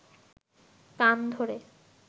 কান ধরে